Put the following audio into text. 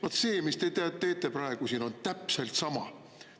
Vaat see, mis te teete praegu siin, on täpselt sama.